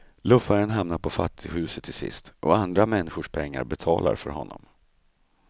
Luffaren hamnar på fattighuset till sist, och andra människors pengar betalar för honom.